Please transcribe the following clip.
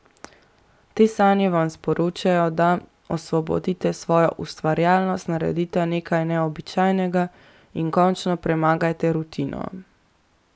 Te sanje vam sporočajo, da osvobodite svojo ustvarjalnost, naredite nekaj neobičajnega in končno premagajte rutino.